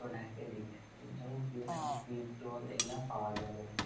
পুরো ঢাকে দিছে | যেমনকি এখানে টিপ টল এইগুলা পাওয়া যায় এখানে |